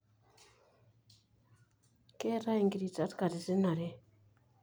keetae ingiritat katitin are.